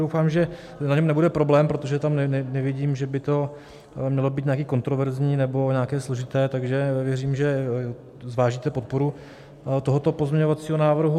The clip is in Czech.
Doufám, že na něm nebude problém, protože tam nevidím, že by to mělo být nějaké kontroverzní nebo nějaké složité, takže věřím, že zvážíte podporu tohoto pozměňovacího návrhu.